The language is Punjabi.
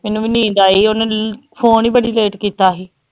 ਮੈਨੂੰ ਵੀ ਨੀਂਦ ਆਈ ਸੀ ਉਹਨੇ phone ਹੀ ਬੜੀ late ਕੀਤਾ ਸੀ।